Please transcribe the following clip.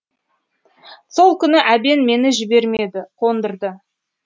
сол күні әбен мені жібермеді қондырды